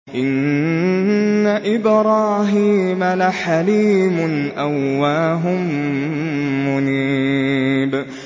إِنَّ إِبْرَاهِيمَ لَحَلِيمٌ أَوَّاهٌ مُّنِيبٌ